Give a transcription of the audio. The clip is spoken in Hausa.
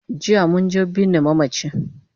Jiya munje binne mamachi